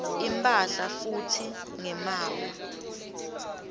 imphahla futsi ngemaawa